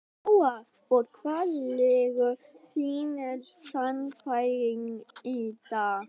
Lóa: Og hvar liggur þín sannfæring í dag?